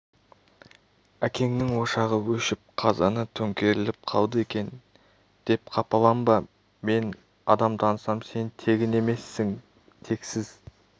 әкеңнің ошағы өшіп қазаны төңкеріліп қалды екен деп қапаланба мен адам танысам сен тегін емессің тексіз